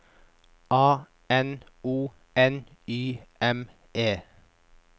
A N O N Y M E